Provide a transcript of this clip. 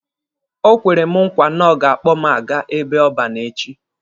Ọ kwere m nkwa na ọ ga-akpọ mụ aga ebe ọban echi.